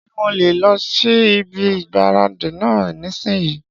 Ṣé mo lè lọ sí ibi ìgbáradì náà nísìínyi?